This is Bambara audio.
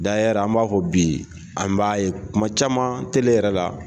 an b'a fɔ bi an b'a ye kuma caman tele yɛrɛ la.